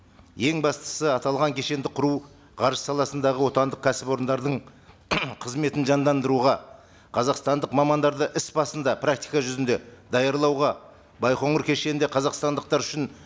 ең бастысы аталған кешенді құру ғарыш саласындағы отандық кәсіпорындардың қызметін жандандыруға қазақстандық мамандарды іс басында практика жүзінде даярлауға байқоңыр кешенінде қазақстандықтар үшін